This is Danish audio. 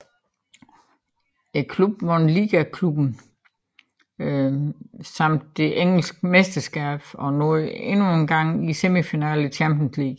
Klubben vandt Liga Cuppen samt det engelske mesterskab og nåede endnu en gang semifinalen i Champions League